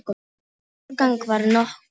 Árangur varð nokkur.